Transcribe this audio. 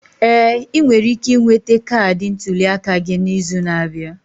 Ee, ị nwere ike ịnwete kaadị ntuli aka gị n'izu na-abịa.